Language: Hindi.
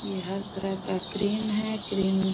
ये हर तरह का क्रीम है क्रीम --